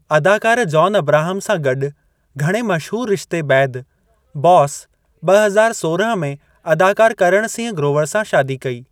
अदाकार जॉन अब्राहम सां गॾु घणे मशहूरु रिश्ते बैदि, बॉस ॿ हज़ार सोरहं में अदाकार करण सिंह ग्रोवर सां शादी कई।